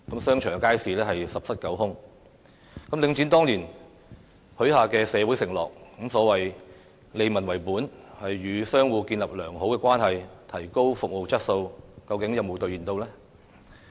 商場和街市十室九空，領展當年許下的社會承諾，包括所謂利民為本，與商戶建立良好關係，提高服務質素，究竟有否兌現？